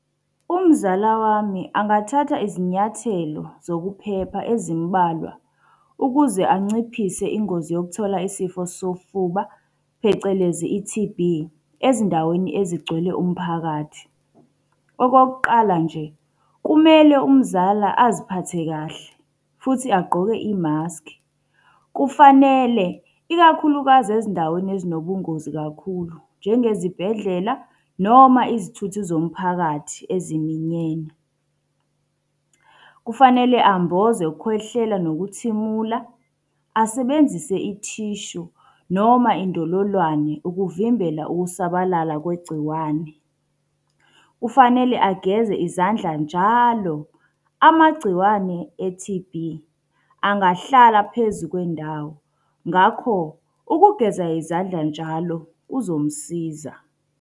Umzala wami angathatha izinyathelo zokuphepha ezimbalwa ukuze anciphise ingozi yokuthola isifo sofuba phecelezi i-T_B, ezindaweni ezigcwele umphakathi. Okokuqala nje, kumele umzala aziphathe kahle futhi agqoke imaskhi. Kufanele ikakhulukazi ezindaweni ezinobungozi kakhulu, njengezibhedlela, noma izithuthi zomphakathi eziminyene. Kufanele amboze ukukhwehlela nokuthimula, asebenzise ithishu noma indololwane ukuvimbela ukusabalala kwegciwane. Kufanele ageze izandla njalo, amagciwane e-T_B angahlala phezu kwendawo. Ngakho, ukugeza izandla njalo kuzomsiza.